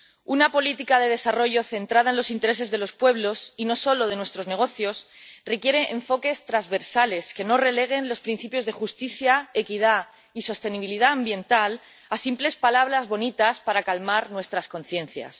Una política de desarrollo centrada en los intereses de los pueblos y no solo de nuestros negocios requiere enfoques transversales, que no releguen los principios de justicia, equidad y sostenibilidad ambiental a simples palabras bonitas para calmar nuestras conciencias.